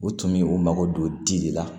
U tun bɛ u mago don di de la